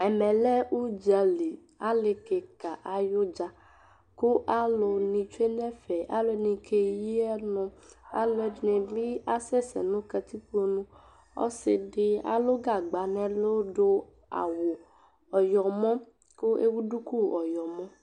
Ɛmɛ lɛ ʋdzaliAali kika ayʋdza, kʋ alʋni tsue n'ɛfɛ alʋni k'eyii ɔnʋAalʋɛɖinibi asɛsɛ nʋ katikpoƆsiɖi alʋ gagba n'ɛlʋ, ɖʋ awu ɔyɔmɔ kʋ ɛwu ɖʋkʋ ɔyɔmɔ